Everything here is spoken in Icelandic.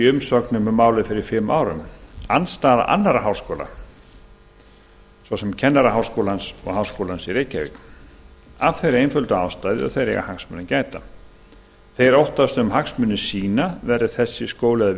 umsögnum um málið fyrir fimm árum andstaða annarra háskóla svo sem kennaraháskólans og háskólans í reykjavík af þeirri einföldu ástæðu að þeir eiga hagsmuna að gæta þeir óttast um hagsmuni sína verði skólinn að